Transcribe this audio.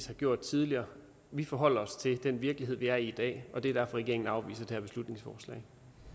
har gjort tidligere vi forholder os til den virkelighed vi er i i dag og det er derfor regeringen afviser det her beslutningsforslag